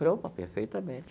Eu falei, opa, perfeitamente.